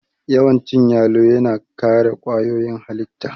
Yawan cin yalo yana kare kwayoyin halitta